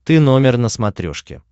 ты номер на смотрешке